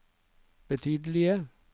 betydelige